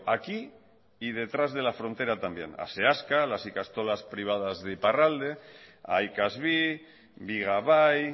aquí y detrás de la frontera también a seaska a las ikastolas privadas de iparralde a ikas bi bigabai